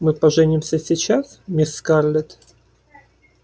мы поженимся сейчас мисс скарлетт